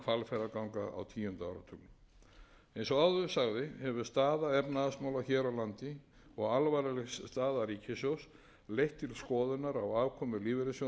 og vegna hvalfjarðarganga á tíunda áratugnum eins og áður sagði hefur staða efnahagsmála hér á landi og alvarleg staða ríkissjóðs leitt til skoðunar á aðkomu lífeyrissjóðanna eða annarra